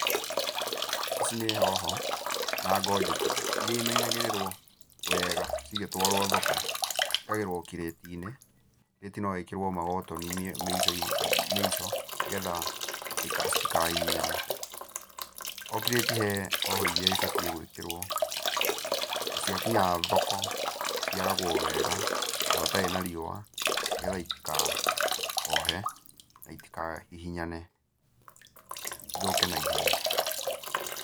Ici nĩ hoho na ngonjeti, iria imenyagĩrĩrwo weega cigĩtwarwo thoko. Ciĩkagĩrwo kĩrĩti-inĩ, kĩrĩti no gĩkĩrwo magotoni mĩico-inĩ mĩico nĩgetha ndĩka citikahihinyane. O kĩrĩti he hoho iria ibatiĩ gwĩkĩrwo, na ciakinya thoko, ciaragwo wega, handũ hatarĩ na riũa, nĩgetha itikahohe na itikahihinyane ithũke naihenya.